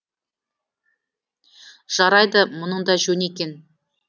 жарайды мұның да жөн екен